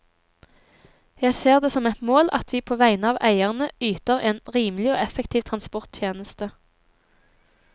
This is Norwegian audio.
Jeg ser det som et mål at vi på vegne av eierne yter en rimelig og effektiv transporttjeneste.